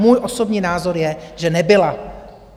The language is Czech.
Můj osobní názor je, že nebyla.